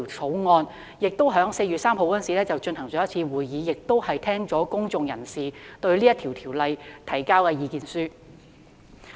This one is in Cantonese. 法案委員會在4月3日與當局舉行了1次會議，並已邀請公眾人士就《條例草案》提交意見書。